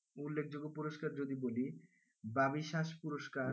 উল্লেখযোগ্য পুরস্কার যদি বলি বাবিশাস পুরস্কার,